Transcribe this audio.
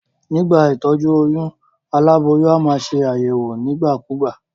Nígbà ìtójú oyún, aláboyún a maa se àyèwò nígbà kúgbà